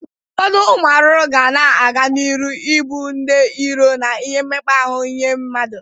Ụfọdụ ụmụ arụrụ ga na-aga n'ịrụ i bụ ndị iro na ihe mmekpa ahụ nye mmadu